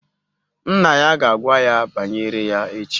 Nna ya ga-agwa ya banyere ya echi